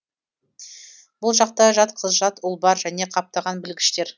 бұл жақта жат қыз жат ұл бар және қаптаған білгіштер